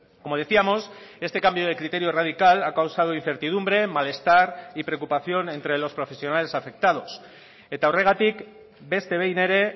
como decíamos este cambio de criterio radical ha causado incertidumbre malestar y preocupación entre los profesionales afectados eta horregatik beste behin ere